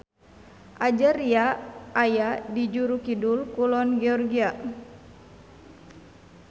Ajaria aya di juru kidul-kulon Georgia.